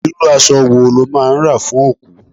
Irú aṣọ wo lọ́ máa ń rà fún òkú?